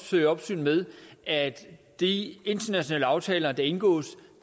føre opsyn med at de internationale aftaler der indgås